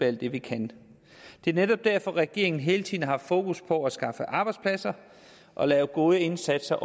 alt det vi kan det er netop derfor at regeringen hele tiden har fokus på at skaffe arbejdspladser og lave gode indsatser